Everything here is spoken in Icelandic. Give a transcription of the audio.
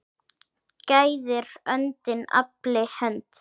Gæðir öndin afli hönd.